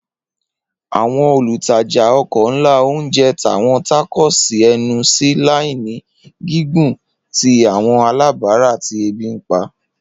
Awọn olutaja oko nla ounje ta awọn tacos ẹnu si laini gigun ti awọn alabara ti ebi npa.